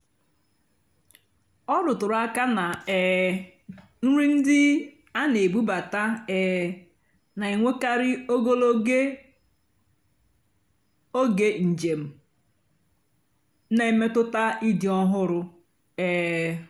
ọ́ rụtụ́rụ́ àká nà um nrì ndí á nà-èbúbátá um nà-ènwékàrị́ ógòlógó ógè njèm nà-èmétụ́tá ị́dì́ ọ́hụ́rụ́. um